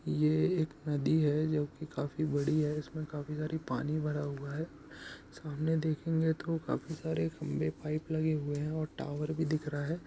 ये एक नदी है जो की काफी बड़ी है| इसमें काफी सारी पानी भरा हुआ है| सामने देखेंगे तो काफी सारे खंभे पाइप लगे हुए हैं और टावर भी दिख रहा है।